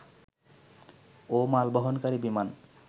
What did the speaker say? ও মালবহনকারী বিমান